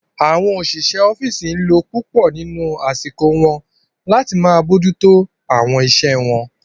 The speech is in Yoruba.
Àwọn òṣìṣẹ́ ọ́fìsì n lo púpọ̀ nínu àsìkò wọn láti máa bójú tó àwọn iṣẹ́ wọn